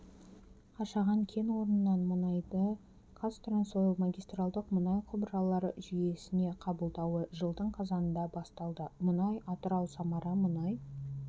қашаған кен орнынан мұнайды қазтрансойл магистралдық мұнай құбыралыр жүйесіне қабылдауы жылдың қазанда басталды мұнай атырау-самара мұнай